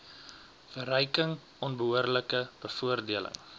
verryking onbehoorlike bevoordeling